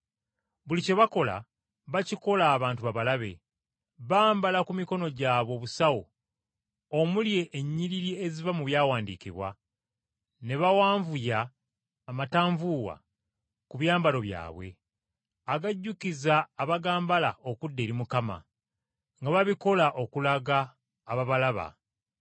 “Buli kye bakola bakikola abantu babalabe. Bambala ku mikono gyabwe obusawo omuli ennyiriri eziva mu Byawandiikibwa, ne bawanvuya amatanvuuwa ku byambalo byabwe, agajjukiza abagambala okudda eri Mukama, nga babikola okulaga ababalaba.